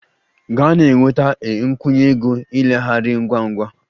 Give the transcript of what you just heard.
Gaa na-enweta a nkwụnye ego ileghara ngwa ngwa!